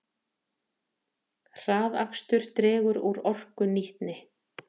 Hraðakstur dregur úr orkunýtni